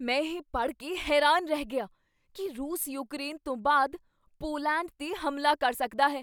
ਮੈਂ ਇਹ ਪੜ੍ਹ ਕੇ ਹੈਰਾਨ ਰਹਿ ਗਿਆ ਕੀ ਰੂਸ ਯੂਕਰੇਨ ਤੋਂ ਬਾਅਦ ਪੋਲੈਂਡ 'ਤੇ ਹਮਲਾ ਕਰ ਸਕਦਾ ਹੈ।